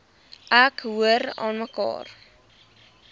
ek hoor aanmekaar